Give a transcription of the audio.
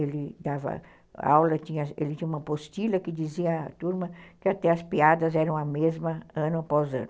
Ele dava aula, ele tinha uma postilha que dizia à turma que até as piadas eram a mesma ano após ano.